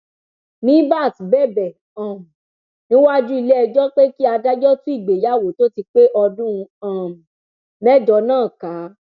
mìíbat bẹbẹ um níwájú iléẹjọ pé kí adájọ tú ìgbéyàwó tó ti pé ọdún um mẹjọ náà ká